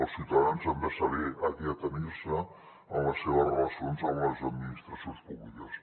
els ciutadans han de saber a què atenir se en les seves relacions amb les administracions públiques